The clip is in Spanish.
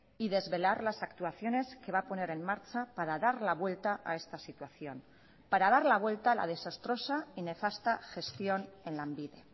y desvelar las actuaciones que va a poner en marcha para dar la vuelta a esta situación para dar la vuelta a la desastrosa y nefasta gestión en lanbide